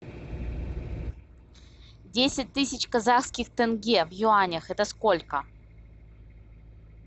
десять тысяч казахских тенге в юанях это сколько